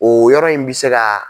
O yɔrɔ in bɛ se ka